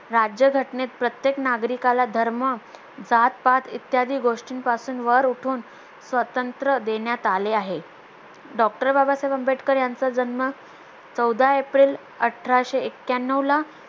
राज्यघटनेत प्रत्येक नागरिकाला धर्म जातपात इत्यादी गोष्टींपासून वर उठून स्वतंत्र देण्यात आले आहे DOCTOR बाबासाहेब आंबेडकर यांचा जन्म चौदा एप्रिल अठराशे एक्यानवला